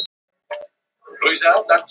Gottsveinn, hvað er í matinn á fimmtudaginn?